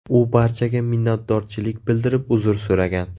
U barchaga minnatdorchilik bildirib uzr so‘ragan.